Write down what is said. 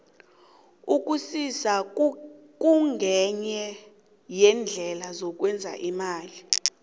ukusisa kungenye yeendlela yokwenza imali